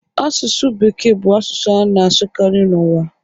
Asụsụ Bekee bụ asụsụ a na-asụkarị n'ụwa